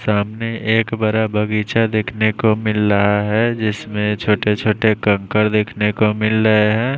सामने एक बरा बगीचा देखने को मिल रहा है जिसमे छोटे छोटे कंकर देख ने को मिल रहे हैं।